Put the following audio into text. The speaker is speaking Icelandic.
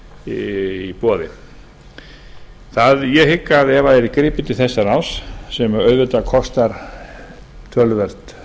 í boði ég hygg að ef það yrði gripið til þessa ráðs sem auðvitað kostar töluvert